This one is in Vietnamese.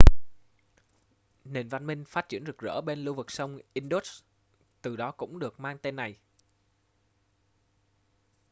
nền văn minh phát triển rực rỡ bên lưu vực sông indus từ đó cũng được mang tên này